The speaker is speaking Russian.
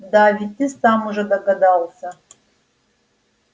да ведь ты сам уже догадался